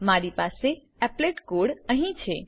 મારી પાસે applet code applet code અહી છે